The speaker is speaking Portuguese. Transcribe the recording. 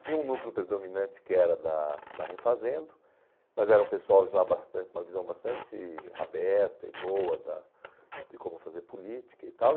Tinha um núcleo predominante que era da da Refazendo, mas era um pessoal já bastante com uma visão bastante aberta e boa da de como fazer política e tal.